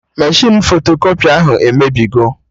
Meshịn fotokọpị ahụ emebigo